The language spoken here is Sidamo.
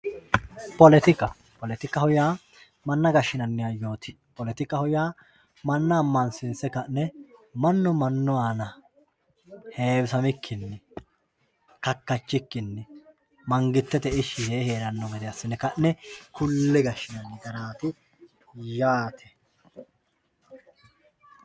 Politika politikaho yaa mana gashinani hayooti politikaho yaa mana amansiinse ka`ne manu heewisamikini heerano hayyo kalaqa yaa politikaho yinani mangitete